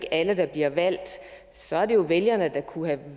alle der bliver valgt så er det jo vælgerne der kunne have